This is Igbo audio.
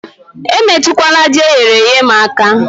Emetụkwala Ji eyere èyé m aka